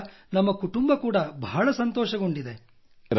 ನಿಮ್ಮಿಂದ ನಮ್ಮ ಕುಟುಂಬ ಕೂಡ ಬಹಳ ಸಂತೋಷಗೊಂಡಿದೆ